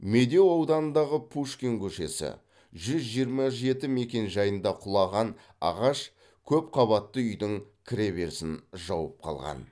медеу ауданындағы пушкин көшесі жүз жиырма жеті мекенжайында құлаған ағаш көпқабатты үйдің кіреберісін жауып қалған